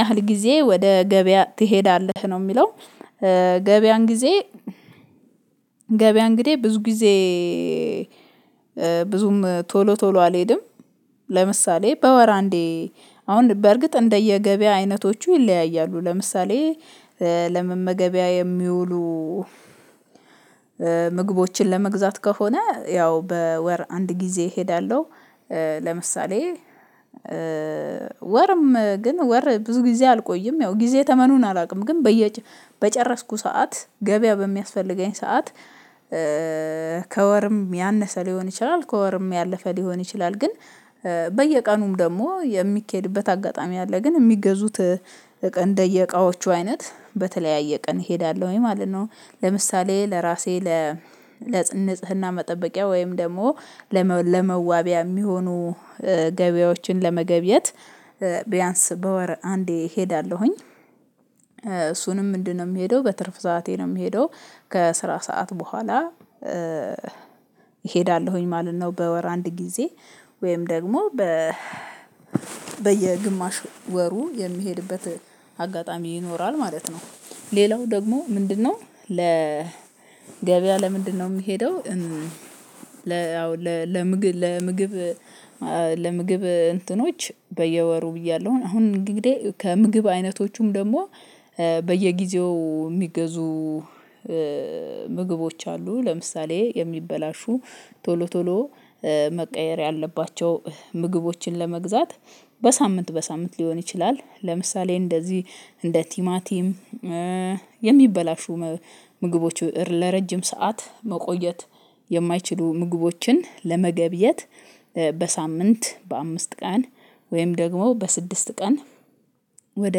ያህል ጊዜ ወደ ገበያ ትሄዳለህ? ነው የሚለው ገበያን ጊዜ ገበያ እንግዲህ ብዙ ጊዜ ብዙም ቶሎ ቶሎ አልሄድም ለምሳሌ በወር አንዴ አሁን በእርግጥ እንደየገበያ አይነቶቹ ይለያያሉ ለምሳሌ ለመመገቢያ የሚውሉ ምግቦችን ለመግዛት ከሆነ ያው በወር አንድ ጊዜ እሄዳለሁ። ለምሳሌ ወርም ግን ወር ብዙ ጊዜ አልቆይም ያው ጊዜ ተመኑን አላውቅም ግን በየ በጨረስኩ ሰዓት ገበያ በሚያስፈልገኝ ሰዓት ከወርም ያነሰ ሊሆን ይችላል ከወርም ያለፈ ሊሆን ይችላል ግን በየቀኑም ደግሞ የሚኬድበት አጋጣሚ አለ ግን የሚገዙት እቃ እንደየቃዎቹ አይነት በተለያየ ቀን እሄዳለሁ ወይ ማለት ነው ለምሳሌ ለራሴ ለ ለጽንጽህና መጠበቂያ ወይም ደግሞ ለመዋቢያ የሚሆኑ ገበያዎችን ለመገብየት ቢያንስ በወር አንዴ እሄዳለሁኝ። እሱንም ምንድነው የምሄደው በትርፍ ሰዓቴ ነው የምሄደው። ከስራ ሰዓት በኋላ እሄዳለሁኝ ማለት ነው። በወር አንድ ጊዜ ወይም ደግሞ በ በየግማሽ ወሩ የሚሄድበት አጋጣሚ ይኖራል ማለት ነው ሌላው ደግሞ ምንድነው ለ ገበያ ለምንድነው የሚሄደው ለ አዎ ለ ለምግብ ለምግብ እንትኖች በየወሩ ብያለሁኝ አሁን እንግዲህ ከምግብ አይነቶቹም ደግሞ በየጊዜው የሚገዙ ምግቦች አሉ ለምሳሌ የሚበላሹ ቶሎ ቶሎ መቀየር ያለባቸው ምግቦችን ለመግዛት በሳምንት በሳምንት ሊሆን ይችላል ለምሳሌ እንደዚህ እንደ ቲማቲም የሚበላሹ ምግቦች ለረጅም ሰዓት መቆየት የማይችሉ ምግቦችን ለመገብየት በሳምንት በአምስት ቀን ወይም ደግሞ በስድስት ቀን ወደ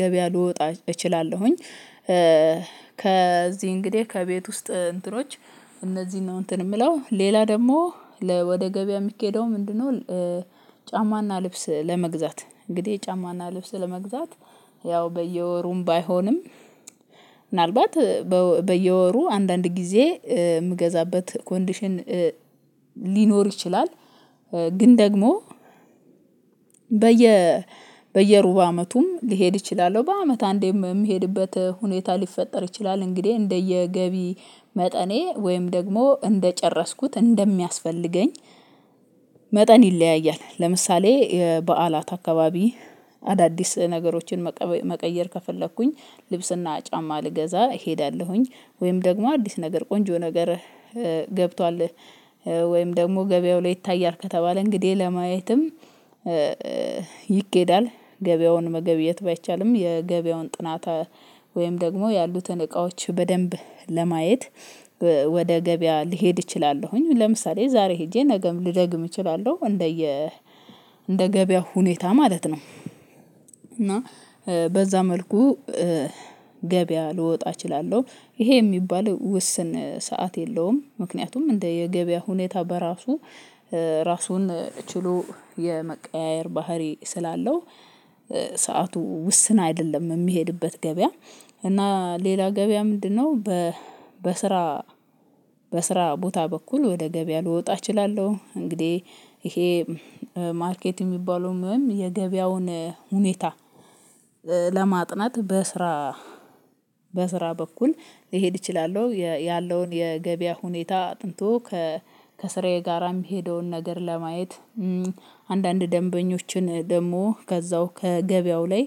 ገበያ ልወጣ እችላለሁኝ ከዚህ እንግዲህ ከቤት ውስጥ እንትኖች እነዚህን ነው እንትን የምለው ሌላ ደግሞ ለ ወደ ገበያ የሚኬደው ምንድነው ጫማና ልብስ ለመግዛት እንግዲህ ጫማና ልብስ ለመግዛት ያው በየወሩም ባይሆንም ምናልባት በየወሩ አንዳንድ ጊዜ የምገዛበት ኮንዲሽን ሊኖር ይችላል ግን ደግሞ በየ በየሩብ አመቱም ሊሄድ እችላለሁ በአመት አንዴ የምሄድበት ሁኔታ ሊፈጠር ይችላል። እንግዲህ እንደየገቢ መጠኔ ወይም ደግሞ እንደጨረስኩት እንደሚያስፈልገኝ መጠን ይለያያል። ለምሳሌ በዓላት አካባቢ አዳዲስ ነገሮችን መቀየር ከፈለኩኝ ልብስና ጫማ ልገዛ እሄዳለሁኝ ወይም ደግሞ አዲስ ነገር ቆንጆ ነገር ገብቷል ወይም ደግሞ ገበያው ላይ ይታያል ከተባለ እንግዲህ ለማየትም ይገኬዳል ገበያውን መገብየት ባይቻልም የገበያውን ጥናት ወይም ደግሞ ያሉትን እቃዎች በደንብ ለማየት ወደ ገበያ ልሄድ እችላለሁኝ ለምሳሌ ዛሬ ሄጄ ነገም ልደግም እችላለሁ እንደየ እንደ ገበያው ሁኔታ ማለት ነው እና በዛ መልኩ ገበያ ልወጣ እችላለሁ ይሄ የሚባለው ውስን ሰዓት የለውም ምክንያቱም እንደ የገበያ ሁኔታ በራሱ ራሱን ችሎ የመቀያየር ባህሪ ስላለው ሰዓቱ ውስን አይደለም የምሄድበት ገበያ እና ሌላ ገበያ ምንድነው በስራ በስራ ቦታ በኩል ወደ ገበያ ልወጣ እችላለሁ እንግዲህ ይሄ ማርኬት የሚባለውም ወይም የገበያውን ሁኔታ ለማጥናት በስራ በስራ በኩል ሊሄድ እችላለሁ ያለውን የገበያ ሁኔታ አጥንቶ ከስራዬ ጋራ የሚሄደውን ነገር ለማየት አንዳንድ ደንበኞችን ደግሞ ከዛው ከገበያው ላይ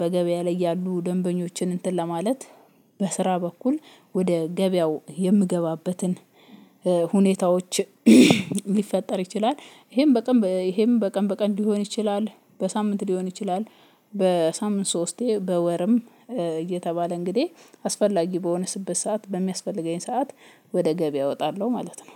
በገበያ ላይ ያሉ ደንበኞችን እንትን ለማለት በስራ በኩል ወደ ገበያው የምገባበትን ሁኔታዎች ሊፈጠር ይችላል ይሄም በቀን ይሄም በቀን በቀን ሊሆን ይችላል፣ በሳምንት ሊሆን ይችላል፣ በሳምንት ሶስቴ በወርም እየተባለ እንግዲህ አስፈላጊ በሆነበት ሰዓት በሚያስፈልገኝ ሰዓት ወደ ገበያ እወጣለሁ ማለት ነው